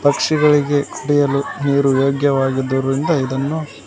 ಪಕ್ಷಿಗಳಿಗೆ ಕುಡಿಯಲು ನೀರು ಯೋಗ್ಯವಾಗಿದ್ದರಿಂದ ಇದನ್ನು--